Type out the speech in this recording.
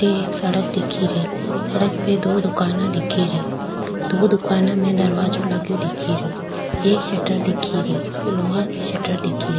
अठे एक सड़क दिखेरी सड़क पे दो दुकाना दिखेरी दो दुकाना में दरवाजो लगो दिखेरो एक शटर दिखेरी लोहा की शटर दिखेरी।